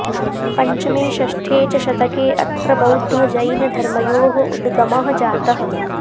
पञ्चमे षष्ठे च शतके अत्र बौद्धजैनधर्मयोः उगमः जातः